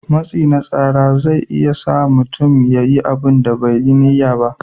Matsi na tsara zai iya sa mutum ya yi abunda bai da niyar yi